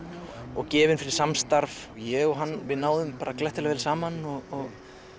og gefinn fyrir samstarf ég og hann náðum glettilega vel saman og